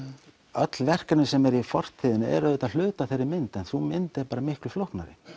öll verkefni sem eru í fortíðinni eru auðvitað hluti af þeirri mynd en sú mynd er bara miklu flóknari